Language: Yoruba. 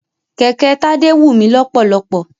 Kẹ̀kẹ́ Tádé wù mí lọ́pọ̀lọ́pọ̀.